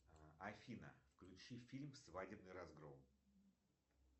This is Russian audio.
афина включи фильм свадебный разгром